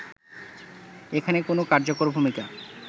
এখানে কোন কার্যকর ভূমিকা